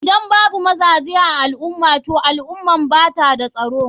Idan babu mazaje a alumah toh al ummar bata da tsaro.